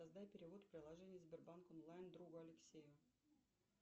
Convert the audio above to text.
создай перевод в приложении сбербанк онлайн другу алексею